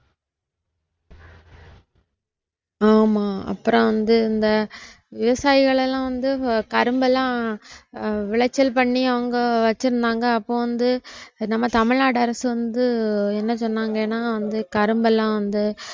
ஆமா அப்புறம் வந்து இந்த விவசாயகளெல்லாம் வந்து கரும்பெல்லாம் விளைச்சல் பண்ணி அவங்க வச்சிருந்தாங்க அப்போ வந்து நம்ம தமிழ்நாடு அரசு வந்து என்ன சொன்னங்கன்னா வந்து கரும்பெல்லாம் வந்து